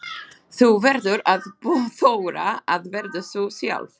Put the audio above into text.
Þú verður að þora að vera þú sjálf.